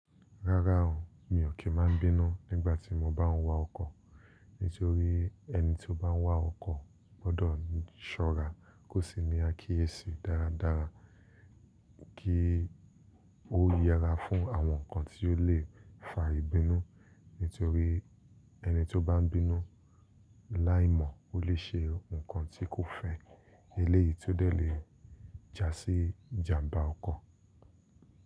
Rárá o, mi ò kí máa n bínú nígbà tí mo bá ń wa ọkọ̀, nítorí ẹni tí ó bá ń wa ọkọ̀ gbọ́dọ̀ ṣọ́ra kó sì ní àkíyèsí dáradára kí ó yẹra fún àwọn nǹkan tí ó lè fa ìbínú, nítorí ẹni tí ó bá ń bínú láì mọ̀ ó lè ṣe nǹkan tí kò fẹ́ eléyìí tó dẹ̀ le jásí ìjàmbá ọkọ̀.